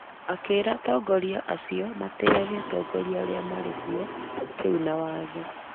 Akĩĩra atongoria acio matĩĩage atongoria arĩa marĩ kuo rĩu na watho ,